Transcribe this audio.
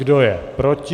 Kdo je proti?